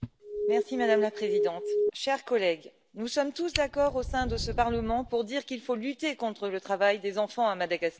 Madame la Présidente, chers collègues, nous sommes tous d'accord au sein de ce Parlement pour dire qu'il faut lutter contre le travail des enfants à Madagascar.